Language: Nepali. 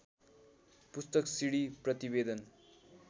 पुस्तक सिडी प्रतिवेदन